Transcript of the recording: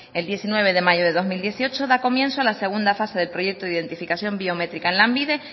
el diecinueve de mayo de dos mil dieciocho da comienzo la segunda fase del proyecto de identificación biométrica en lanbide